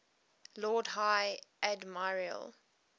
lord high admiral